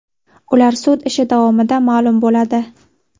Ular sud ishi davomida ma’lum bo‘ladi.